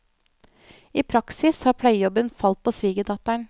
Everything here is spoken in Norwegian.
I praksis har pleiejobben falt på svigerdatteren.